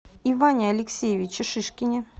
иване алексеевиче шишкине